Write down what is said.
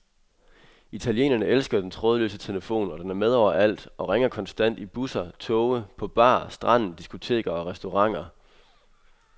Italienerne elsker den trådløse telefon, og den er med overalt og ringer konstant i busser, toge, på bar, stranden, diskoteker og restauranter.